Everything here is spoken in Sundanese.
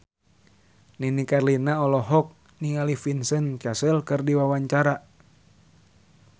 Nini Carlina olohok ningali Vincent Cassel keur diwawancara